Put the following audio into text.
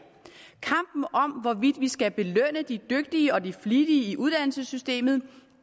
kampen om hvorvidt vi skal belønne de dygtige og de flittige i uddannelsessystemet